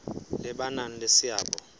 le ba nang le seabo